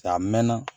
Caa a mɛnna